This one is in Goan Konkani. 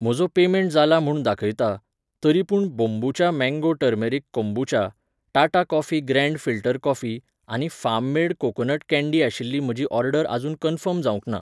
म्हजो पेमेंट जाला म्हूण दाखयता, तरी पूण बोंबुचा mango turmeric kombucha, Tata coffee grand filter coffee आनी फार्म मेड कोकोनट कँडी आशिल्ली म्हजी ऑर्डर अजून कन्फर्म जावंक ना